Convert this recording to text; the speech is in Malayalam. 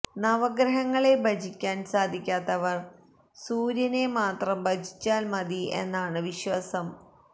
നവഗ്രഹങ്ങളെ ഭജിക്കാൻ സാധിക്കാത്തവർ സൂര്യനെ മാത്രം ഭജിച്ചാൽ മതി എന്നാണ് വിശ്വാസം